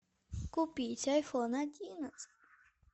купить айфон одиннадцать